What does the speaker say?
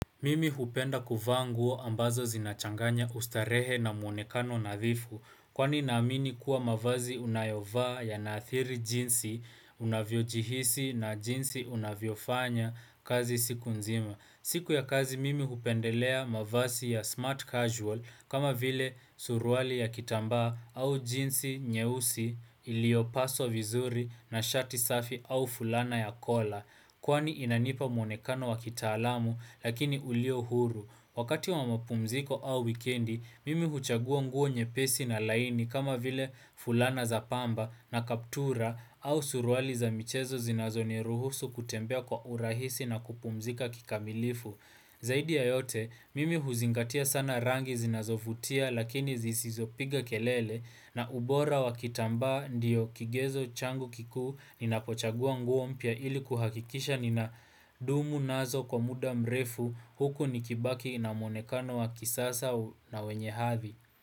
Mimi hupenda kuvaa nguo ambazo zinachanganya ustarehe na mwonekano nadhifu Kwani namini kuwa mavazi unayovaa yanathiri jinsi unavyojihisi na jinsi unavyofanya kazi siku nzima siku ya kazi mimi hupendelea mavazi ya smart casual kama vile surwali ya kitamba au jinsi nyeusi iliopaswa vizuri na shati safi au fulana ya kola Kwani inanipa mwonekano wa kitaalamu lakini ulio huru. Wakati wa mapumziko au wikendi, mimi huchagua nguo nyepesi na laini kama vile fulana za pamba na kaptura au suruali za michezo zinazoniruhusu kutembea kwa urahisi na kupumzika kikamilifu. Zaidi ya yote, mimi huzingatia sana rangi zinazovutia lakini zisizopiga kelele na ubora wakitamba ndiyo kigezo changu kiku nina pochagua nguo mpya ili kuhakikisha nina dumu nazo kwa muda mrefu huku nikibaki na monekano wa kisasa na wenye hathi.